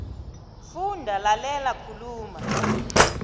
funda lalela khuluma